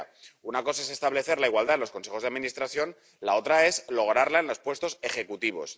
Primera una cosa es establecer la igualdad en los consejos de administración y la otra es lograrla en los puestos ejecutivos.